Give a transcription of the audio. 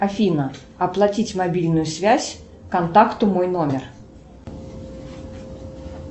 афина оплатить мобильную связь контакту мой номер